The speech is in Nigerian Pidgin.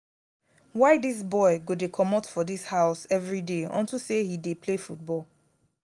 why dis boy go dey comot for dis house everyday unto say he dey play football?